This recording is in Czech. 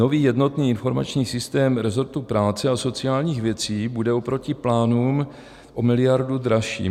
Nový jednotný informační systém rezortu práce a sociálních věcí bude oproti plánům o miliardu dražší.